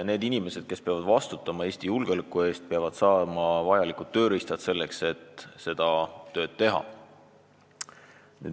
Need inimesed, kes peavad vastutama Eesti julgeoleku eest, peavad saama vajalikud tööriistad, selleks et seda tööd teha.